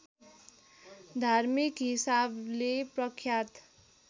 धार्मिक हिसाबले प्रख्यात